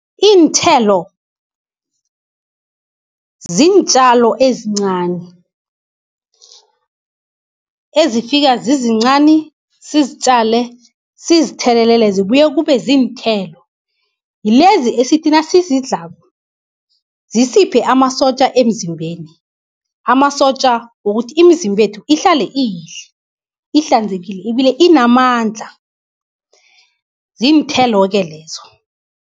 Iinthelo ziintjalo ezincani, ezifika zizincani sizitjale sizithelele zibuye kube ziinthelo. Yilezi esithi nasizidlako zisiphe amasotja emzimbeni, amasotja wokuthi iimzimbethu ihlale iyihle, ihlanzekile ibile inamandla, ziinthelo-ke lezo.